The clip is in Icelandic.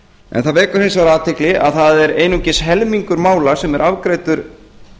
ítrekanir það vekur hins vegar athygli að það er einungis helmingur mála sem er afgreiddur